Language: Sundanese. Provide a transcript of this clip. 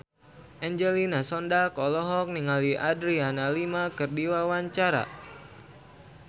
Angelina Sondakh olohok ningali Adriana Lima keur diwawancara